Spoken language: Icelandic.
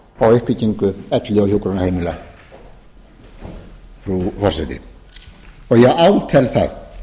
uppbyggingu elli og hjúkrunarheimila frú forseti og ég átel það